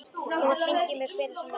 Þú mátt hringja í mig hvenær sem er.